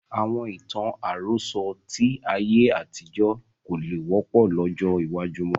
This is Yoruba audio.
Àwọn ìtàn àròsọ̀ tí ayé àtijọ́ kò lè wọ́pọ̀ lọ́jọ́ iwájú mọ́